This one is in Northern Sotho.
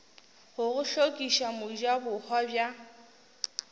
go go hlokiša mojabohwa bja